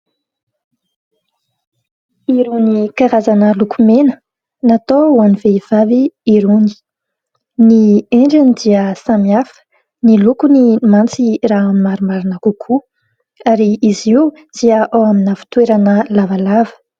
Irony karazana lokomena natao ho an'ny vehivavy irony, ny endriny dia samihafa ny lokony mantsy raha ny marimarina kokoa ary izy io dia ao amina fitoerana lavalava.